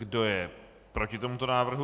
Kdo je proti tomuto návrhu?